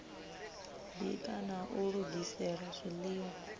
bika na u lugisela zwiḽiwa